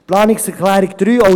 Planungserklärung 3